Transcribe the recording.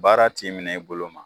Baara t'i minɛ i bolo ma.